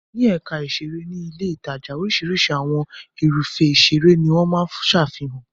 Ní ẹ̀ka ìṣeré ní ilé-ìtajà. Oríṣiríṣi àwọn irúfẹ́ ìṣeré ni wọ́n máa ń ṣàfihàn.